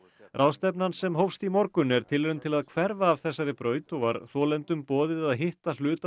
ráðstefnan sem hófst í morgun er tilraun til að hverfa af þessari braut og var þolendum boðið að hitta hluta